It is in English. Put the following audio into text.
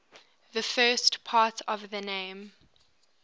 the first part of the name